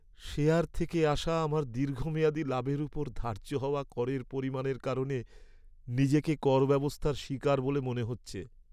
Share থেকে আসা আমার দীর্ঘমেয়াদী লাভের ওপর ধার্য হওয়া করের পরিমাণের কারণে নিজেকে করব্যবস্থার শিকার বলে মনে হচ্ছে।